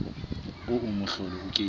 oo mohlolo o ke ke